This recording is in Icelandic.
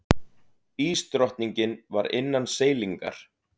Ísdrottningin var innan seilingar.